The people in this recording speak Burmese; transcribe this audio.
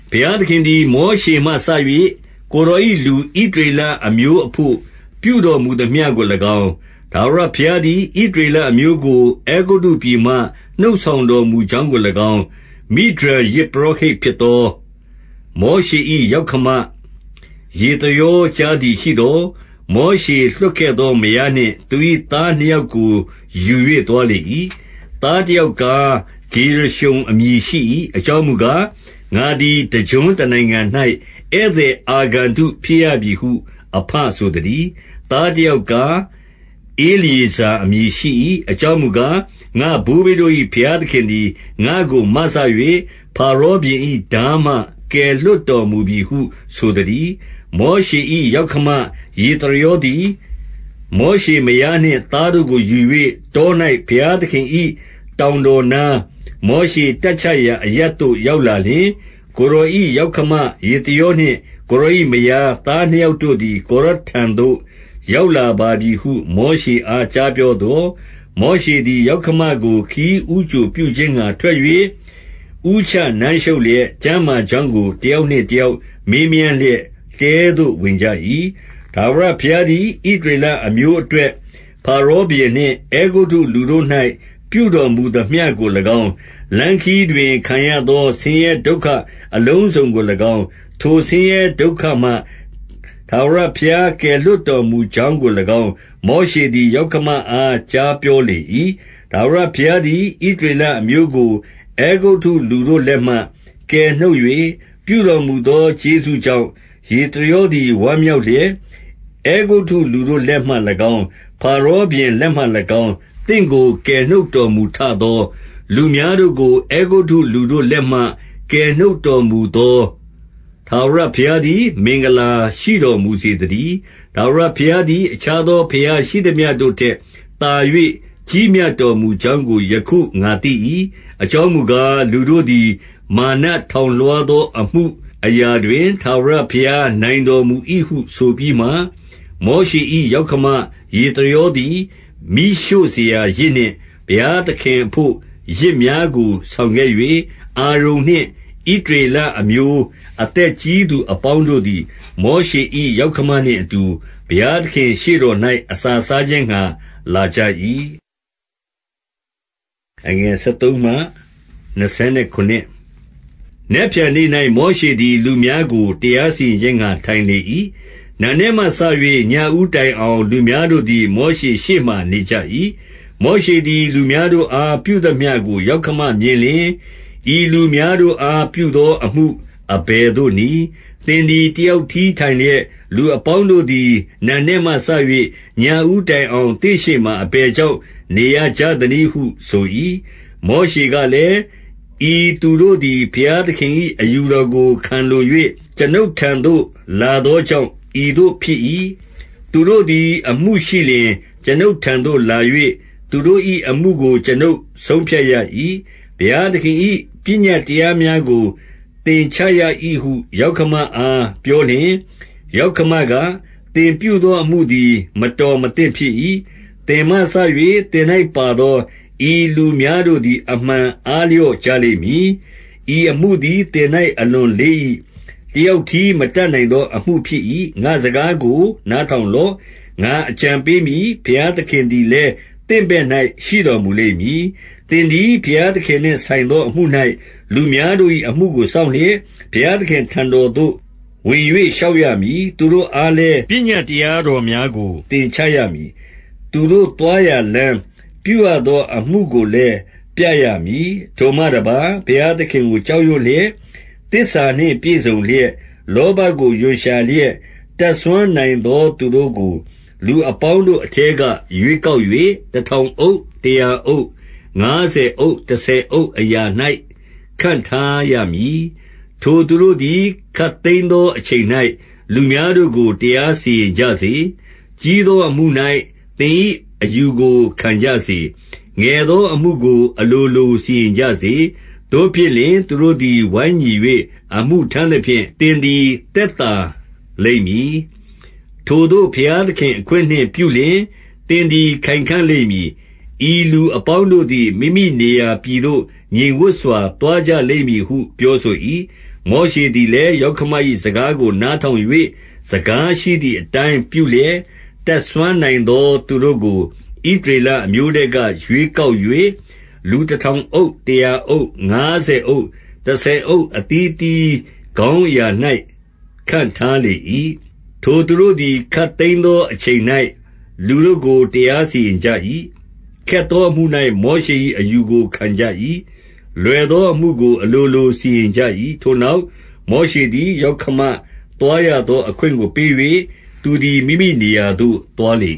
ဘုရားသခင်သည် မောရှေမှစ၍ ကိုယ်တော်၏ လူဣသရေလအမျိုးအဘို့ ပြုတော်မူသမျှကို၎င်း၊ ထာဝရဘုရားသည် ဣသရေလအမျိုးကို အဲဂုတ္တုပြည်မှ နှုတ်ဆောင်တော်မူကြောင်းကို၎င်း၊ မိဒျန် ယဇ်ပုရောဟိတ်ဖြစ်သော မောရှေ၏ ယောက္ခမ ယေသရော ကြားသည်ရှိသော်၊ 2 မောရှေလွှတ်ခဲ့သော မယားနှင့် 3 သူ၏သားနှစ်ယောက်ကို ယူ၍ သွားလေ၏။ သားတယောက်ကား၊ ဂေရရှုံ အမည်ရှိ၏။ အကြောင်းမူကား၊ ငါသည် တကျွန်းတနိုင်ငံ၌ ဧည့်သည်အာဂန္တုဖြစ်ရပြီဟု အဘဆိုသတည်း။ 4 သားတယောက်ကား၊ ဧလျေဇာ အမည်ရှိ၏။ အကြောင်းမူကား၊ ငါ့ဘိုးဘေးတို့၏ ဘုရားသခင်သည် ငါ့ကို မစ၍ ဖာရောဘုရင်၏ ထားမှ ကယ်လွှတ်တော်မူပြီဟု ဆိုသတည်း။ 5 မောရှေ၏ ယောက္ခမ ယေသရောသည် မောရှေမယားနှင့် သားတို့ကို ယူ၍၊ တော၌ ဘုရားသခင်၏ တောင်တော်နား၊ မောရှေတပ်ချရာအရပ်သို့ ရောက်လာလျှင်၊ 6 ကိုယ်တော်၏ယောက္ခမ ယေသရောနှင့် ကိုယ်တော်၏ မယား၊ သားနှစ်ယောက်တို့သည် ကိုယ်တော်ထံသို့ ရောက်လာပါပြီဟု မောရှေအား ကြားပြောသော်၊ 7 မောရှေသည် ယောက္ခမကို ခရီးဦးကြိုပြုခြင်းငှာ ထွက်၍ ဦးချနမ်းရှုပ်လျက်၊ ကျန်းမာကြောင်းကို တယောက်နှင့်တယောက် မေးမြန်းလျက် တဲသို့ဝင်ကြ၏။ 8 ထာဝရဘုရားသည် ဣသရေလအမျိုးအတွက် ဖာရောဘုရင်နှင့် အဲဂုတ္တုလူတို့၌ ပြုတော်မူသမျှကို ၎င်း၊ လမ်းခရီးတွင် ခံရသော ဆင်းရဲဒုက္ခအလုံးစုံကို၎င်း၊ ထိုဆင်းရဲဒုက္ခမှ ထာဝရဘုရား ကယ်လွှတ်တော်မူ ကြောင်းကို၎င်း၊ မောရှေသည် ယောက္ခမအား ကြားပြောလေ၏။ 9 ထာဝရဘုရားသည် ဣသရေလအမျိုးကို အဲဂုတ္တုလူတို့လက်မှ ကယ်နှုတ်၍၊ ပြုတော်မူသော ကျေးဇူးကြောင့် ယေသရောသည် ဝမ်းမြောက်လျက်၊ 10 အဲဂုတ္တုလူတို့လက်မှ၎င်း၊ ဖာရောဘုရင်လက်မှ၎င်း၊ သင့်ကို ကယ်နှုတ်တော်မူထသော၊ လူများတို့ကို အဲဂုတ္တုလူတို့လက်မှ ကယ်နှုတ်တော်မူသော ထာဝရဘုရားသည် မင်္ဂလာရှိတော်မူစေသတည်း။ 11 ထာဝရဘုရားသည် အခြားသောဘုရား ရှိသမျှတို့ထက် သာ၍ ကြီးမြတ်တော်မူကြောင်းကို ယခု ငါသိ၏။ အကြောင်းမူကား၊ လူတို့သည် မာနထောင်လွှားသော အမှုအရာတွင်၊ ထာဝရဘုရားနိုင်တော်မူ၏ဟု ဆိုပြီးမှ၊ 12 မောရှေ၏ ယောက္ခမ ယေသရောသည်၊ မီးရှို့စရာယဇ်နှင့် ဘုရားသခင်အဘို့ ယဇ်များကို ဆောင်ခဲ့၍၊ အာရုန်နှင့် ဣသရေလအမျိုး အသက်ကြီးသူအပေါင်းတို့သည်၊ မောရှေ၏ ယောက္ခမနှင့်အတူ ဘုရားသခင့် ရှေ့တော်၌ အစာစားခြင်းငှာ လာကြ၏။ 13 နက်ဖြန်နေ့၌ မောရှေသည်၊ လူများကို တရားစီရင်ခြင်းငှာ ထိုင်လေ၏။ နံနက်မှစ၍ ညဦးတိုင်အောင်၊ လူများတို့သည် မောရှေရှေ့မှာ နေကြ၏။ 14 မောရှေသည် လူများတို့အား ပြုသမျှကို ယောက္ခမမြင်လျှင်၊ ဤလူများတို့အား ပြုသောအမှု အဘယ်သို့နည်း။ သင်သည် တယောက်တည်းထိုင်လျက်၊ လူအပေါင်းတို့သည် နံနက်မှစ၍ ညဦးတိုင်အောင် သင့်ရှေ့မှာ အဘယ်ကြောင့် နေရကြသနည်းဟု ဆို၏။ 15 မောရှေကလည်း၊ ဤသူတို့သည် ဘုရားသခင်၏ အယူတော်ကို ခံလို၍ ကျွန်ုပ်ထံသို့ လာသောကြောင့် ဤသို့ဖြစ်၏။ 16 သူတို့သည် အမှုရှိလျှင် အကျွန်ုပ်ထံသို့လာ၍ သူတို့၏အမှုကို ကျွန်ုပ်ဆုံးဖြတ်ရ၏။ ဘုရားသခင်၏ ပညတ်တရားများကို သင်ချရ၏ဟု ယောက္ခမအား ပြောလျှင်၊ 17 ယောက္ခမက၊ သင်ပြုသောအမှုသည် မတော်မသင့်ဖြစ်၏။ 18 သင်မှစ၍ သင်၌ပါသော ဤလူများတို့သည် အမှန် အားလျော့ကြလိမ့်မည်။ ဤအမှုသည် သင်၌ အလွန်လေး၏။ တယောက်တည်း မတတ်နိုင်သောအမှုဖြစ်၏။ 19 ငါ့စကားကို နားထောင်လော့။ ငါအကြံပေးမည်။ ဘုရားသခင်သည်လည်း သင့်ဘက်၌ ရှိတော်မူလိမ့် မည်။ သင်သည် ဘုရားသခင်နှင့်ဆိုင်သော အမှု၌ လူများတို့၏ အမှုကို စောင့်လျက် ဘုရားသခင်အထံတော်သို့ ဝင်၍ လျှောက်ရမည်။ 20 သူတို့အားလည်း ပညတ်တရားတော်များကို သင်ချရမည်။ သူတို့သွားရာလမ်း၊ ပြုရသောအမှုကိုလည်း ပြရမည်။ 21 ထိုမှတပါး ဘုရားသခင်ကို ကြောက်ရွံ့လျက်၊ သစ္စာနှင့်ပြည့်စုံလျက်၊ လောဘကို ရွံရှာလျက်၊ တတ်စွမ်းနိုင်သောသူတို့ကို လူအပေါင်းတို့အထဲက ရွေးကောက်၍၊ တထောင်အုပ်၊ တရာအုပ်၊ ငါးဆယ်အုပ်၊ တဆယ်အုပ်အရာ၌ ခန့်ထားရမည်။ 22 ထိုသူတို့သည် ခပ်သိမ်းသောအချိန်၌ လူများတို့ကို တရားစီရင်ကြစေ။ ကြီးသောအမှု၌ သင်၏အယူကို ခံကြစေ။ ငယ်သောအမှုကို အလိုလို စီရင်ကြစေ။ သို့ဖြစ်လျှင် သူတို့သည် ဝိုင်းညီ၍ အမှုထမ်းသဖြင့် သင်သည် သက်သာလိမ့်မည်။ 23 ထိုသို့ ဘုရားသခင် အခွင့်နှင့်ပြုလျှင် သင်သည် ခိုင်ခံ့လိမ့်မည်။ ဤလူအပေါင်းတို့သည် မိမိနေရာပြည် သို့ ငြိမ်ဝပ်စွာ သွားကြလိမ့်မည်ဟု ပြောဆို၏။ 24 မောရှေသည်လည်း ယောက္ခမ၏စကားကို နားထောင်၍ စကားရှိသည်အတိုင်း ပြုလျက်၊ 25 တတ်စွမ်းနိုင်သောသူတို့ကို ဣသရေလအမျိုးထဲက ရွေးကောက်၍ လူတထောင်အုပ်၊ တရာအုပ်၊ ငါးဆယ်အုပ်၊ တဆယ်အုပ် အသီးအသီး ခေါင်းအရာ၌ ခန့်ထားလေ၏။ 26 ထိုသူတို့သည် ခပ်သိမ်းသောအချိန်၌ လူတို့ကို တရားစီရင်ကြ၏။ ခက်သောအမှု၌ မောရှေ၏အယူကို ခံကြ၏။ လွယ်သောအမှုကို အလိုလို စီရင်ကြ၏။ 27 ထိုနောက် မောရှေသည် ယောက္ခမသွားရသောအခွင့်ကို ပေး၍၊ သူသည် မိမိနေရာသို့ သွားလေ